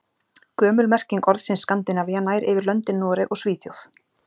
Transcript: Gömul merking orðsins Skandinavía nær yfir löndin Noreg og Svíþjóð.